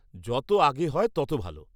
-যত আগে হয় তত ভালো।